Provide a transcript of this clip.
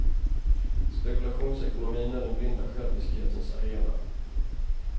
Spekulationsekonomin är den blinda själviskhetens arena.